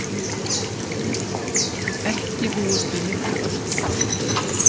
Ekki búist við miklu öskufoki